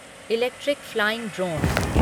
electric flying drone